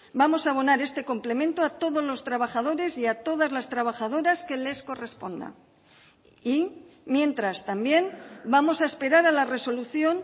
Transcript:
vamos a abonar este complemento a todos los trabajadores y a todas las trabajadoras que les corresponda y mientras también vamos a esperar a la resolución